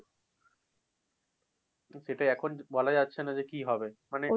সেটাই, এখন বলা যাচ্ছে না যে কি হবে। মানে